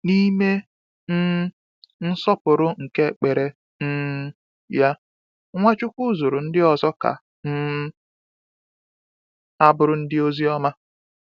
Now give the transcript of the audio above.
N’ime um nsọpụrụ nke ekpere um ya, Nwachukwu zụrụ ndị ọzọ ka um ha bụrụ ndị ozi ọma.